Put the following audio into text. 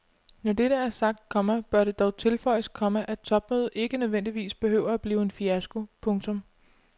Når dette er sagt, komma bør det dog tilføjes, komma at topmødet ikke nødvendigvis behøver at blive en fiasko. punktum